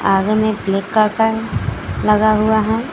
आगे में आता है लगा हुआ है।